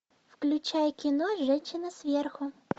включай кино женщина сверху